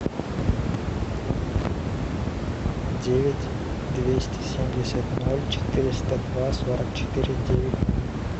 девять двести семьдесят ноль четыреста два сорок четыре девять